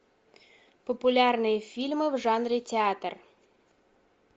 популярные фильмы в жанре театр